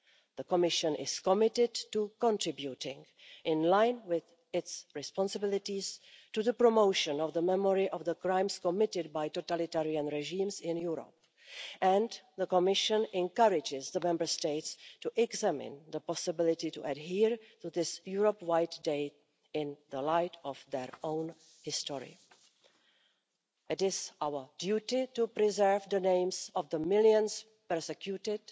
The Commission is committed to contributing, in line with its responsibilities, to the promotion of the memory of crimes committed by totalitarian regimes in Europe and the Commission encourages the Member States to consider the possibility of adhering to this Europe wide day in the light of their own history. It is our duty to preserve the names of the millions persecuted